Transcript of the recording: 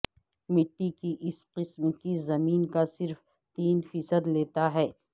مٹی کی اس قسم کی زمین کا صرف تین فیصد لیتا ہے